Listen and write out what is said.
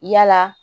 Yala